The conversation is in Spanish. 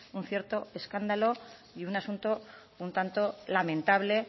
un cierto escándalo y un asunto un tanto lamentable